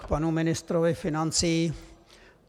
K panu ministrovi financí.